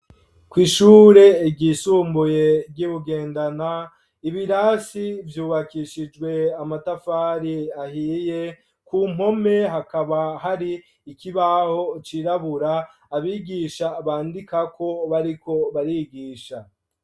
Kw'ishure ryisumbuye, ry'i Bugendana, ibirasi vyubakishijwe, amatafari ahiye; ku mpome, hakaba hari, ikibaho cirabura, abigisha bandikako, bariko barigisha.